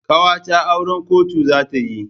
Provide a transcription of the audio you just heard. Ƙawata auran kotu za ta yi.